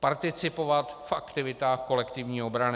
participovat v aktivitách kolektivní obrany.